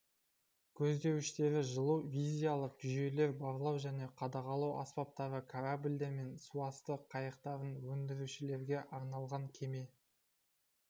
көздеуіштері жылу визиялық жүйелер барлау және қадағалау аспаптары корабльдер мен суасты қайықтарын өндірушілерге арналған кеме